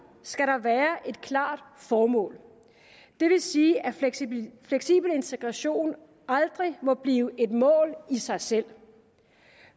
skal der være et klart formål det vil sige at fleksibel integration aldrig må blive et mål i sig selv